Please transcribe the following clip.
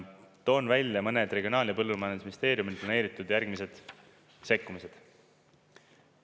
Toon välja mõned Regionaal- ja Põllumajandusministeeriumi planeeritud järgmised sekkumised.